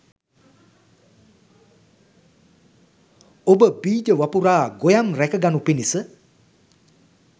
ඔබ බීජ වපුරා, ගොයම් රැක ගනු පිණිස